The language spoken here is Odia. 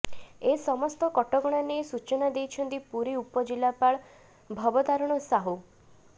ଏ ସମସ୍ତ କଟକଣା ନେଇ ସୂଚନା ଦେଇଛନ୍ତି ପୁରୀ ଉପଜିଲ୍ଲାପାଳ ଭବତାରଣ ସାହୁ